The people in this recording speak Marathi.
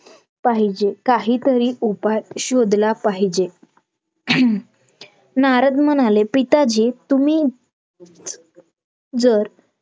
पाहिजेत काहीतरी उपाय शोधला पाहिजेत नारद म्हणाले पिताजी तुम्ही जर